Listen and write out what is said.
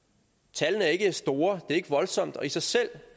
tallene er ikke store det er ikke voldsomt og i sig selv